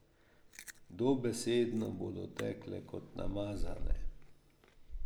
Dobesedno bodo tekle kot namazane.